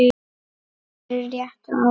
fyrir réttu ári.